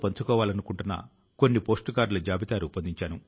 తాను చదివిన పాఠశాల విద్యార్థుల జీవితం కూడా వేడుక గా మారాలన్నారు